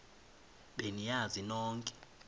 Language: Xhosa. be niyazi nonk